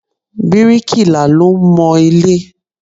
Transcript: Bíríkì là ló ń mọ ilé.